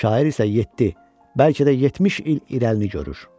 Şair isə yeddi, bəlkə də 70 il irəlini görür.